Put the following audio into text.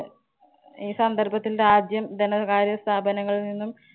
ഈ സന്ദര്‍ഭത്തില്‍ രാജ്യം ധനകാര്യ സ്ഥാപനങ്ങളില്‍ നിന്നും